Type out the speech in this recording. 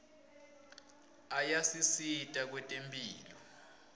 ayasisita kwetemphilo